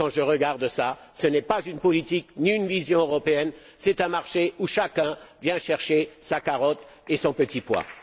Quand je regarde cela, ce n'est pas une politique ni une vision européenne, c'est un marché où chacun vient chercher sa carotte et son petit pois.